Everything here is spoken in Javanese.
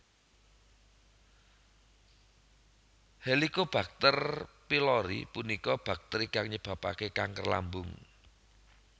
Helicobacter Pylori punika bakteri kang nyebabaken kanker lambung